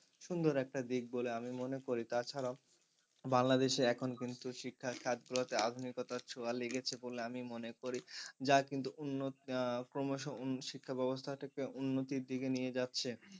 সুন্দর একটা দিক বলে আমি মনে করি তাছাড়াও বাংলাদেশ এ এখন কিন্তু শিক্ষার গুলোতে আধুনিকতার ছোঁয়া লেগেছে বলে আমি মনে করি যা কিন্তু অন্য আহ ক্রমশ শিক্ষা ব্যবস্থার ক্ষেত্রে উন্নতির দিকে নিয়ে যাচ্ছে।